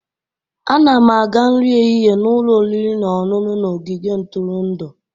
A na m aga nri ehihie n'ụlọ oriri na ọṅụṅụ na ogige ntụrụndụ.